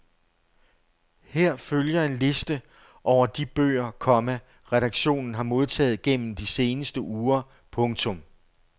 Her følger en liste over de bøger, komma redaktionen har modtaget gennem de seneste uger. punktum